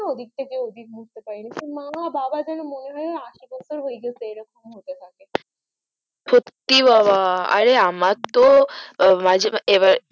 ওদিক থেকে এদিকে লড়তে পারিনা মামার বাবার যেন মনে হয় যেন আসি বছর হয়ে গেছে এইরকম হতে থাকে সত্যি বাবা অরে আমার তো মাঝে মাঝে এবার